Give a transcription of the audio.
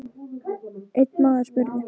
Einn maður spurði